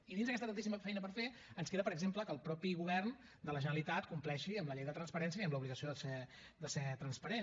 i dins d’aquesta tantíssima feina per fer ens queda per exemple que el mateix govern de la generalitat compleixi amb la llei de transparència i amb l’obligació de ser transparent